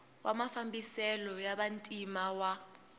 wa mafambiselo ya vantima wa